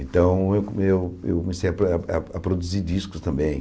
Então eu co eu eu comecei a a a produzir discos também.